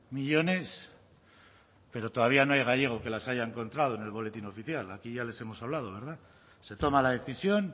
millónes pero todavía no hay gallego que las haya encontrado en el boletín oficial aquí ya les hemos hablado verdad se toma la decisión